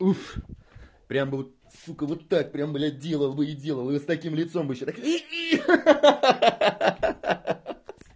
уф прямо бы вот сука вот так прямо блядь делал бы и делал вот с таким лицом бы ещё так ха-ха